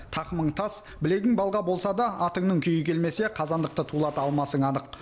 тақымың тас білегің балға болса да атыңның күйі келмесе қазандықты тулата алмасың анық